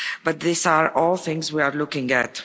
But these are all things we are looking